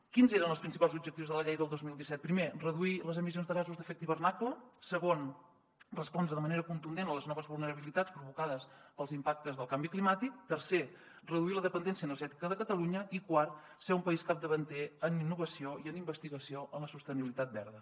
quins eren els principals objectius de la llei del dos mil disset primer reduir les emissions de gasos d’efecte hivernacle segon respondre de manera contundent a les noves vulnerabilitats provocades pels impactes del canvi climàtic tercer reduir la dependència energètica de catalunya i quart ser un país capdavanter en innovació i en investigació en la sostenibilitat verda